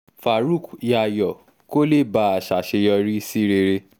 faruk yayo kó lè bàa ṣàṣeyọrí sí rere